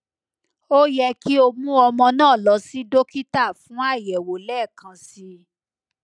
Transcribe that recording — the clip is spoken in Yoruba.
o yẹ ki o mu ọmọ naa lọ si dokita fun ayẹwo lẹẹkansi